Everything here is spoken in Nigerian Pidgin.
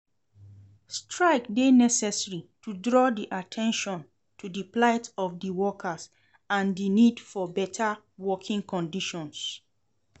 Strike dey necessary to draw at ten tion to di plight of di workers and di need for beta working conditions.